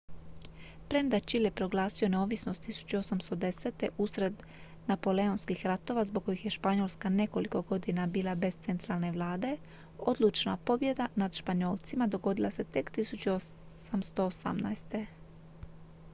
premda je čile proglasio neovisnost 1810. usred napoleonskih ratova zbog kojih je španjolska nekoliko godina bila bez centralne vlade odlučna pobjeda nad španjolcima dogodila se tek 1818